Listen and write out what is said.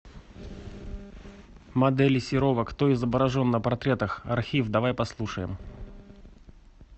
модели серова кто изображен на портретах архив давай послушаем